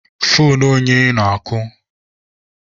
Foonu onye na-akụ?